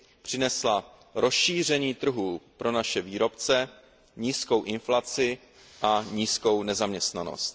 Přinesla rozšíření trhů pro naše výrobce, nízkou inflaci a nízkou nezaměstnanost.